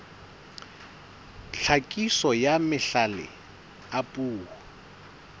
tlhakiso ya mahlale a puo